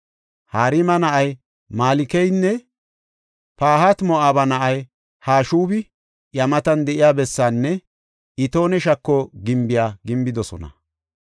Harima na7ay Malkeynne Pahati-Moo7aba na7ay Hashubi iya matan de7iya bessaanne Itoone Shako gimbiya gimbidosona.